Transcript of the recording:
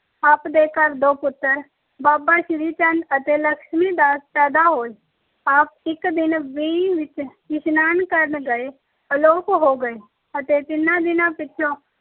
ਆਪ ਦੇ ਘਰ ਦੋ ਪੁੱਤਰ ਬਾਾਬਾ ਸ਼੍ਰੀ ਚੰਦ ਅਤੇ ਲਕਸ਼ਮੀ ਦਾਸ ਪੈਦਾ ਹੋਏ। ਆਪ ਇੱਕ ਦਿਨ ਵੇਈਂ ਇਸ਼ਨਾਨ ਕਰਨ ਗਏ, ਅਲੋਪ ਹੋ ਗਏ ਅਤੇ ਤਿੰਨਾ ਦਿਨਾ ਪਿੱਛੋ